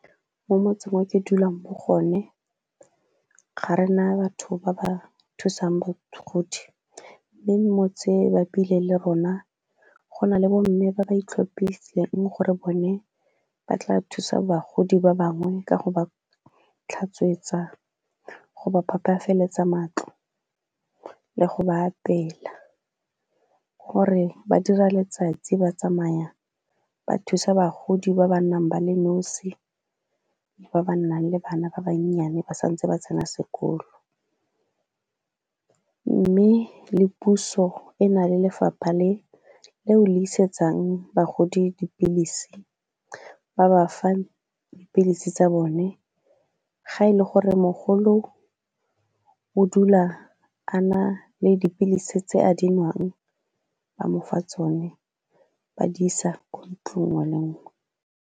Mo motseng o ke dulang bo gone ga rena batho ba ba thusang , mme motse e bapile le rona go nale bomme ba ba itlhophileng gore bone ba tla thusa bagodi ba bangwe ka go ba tlhatswetsa, go ba phapafaletsa matlo le go ba apeela. Gore ba dira letsatsi ba tsamaya ba thusa bagodi ba ba nang ba le nosi ba ba nnang le bana ba bannyane ba santse ba tsena sekolo, mme le puso e na le lefapha leo le isetsang bagodi dipilisi, ba ba fa dipilisi tsa bone ga e le gore mogolo o dula a na le dipilisi tse a di nwang ba mo fa tsone ba di isa ko ntlong nngwe le nngwe.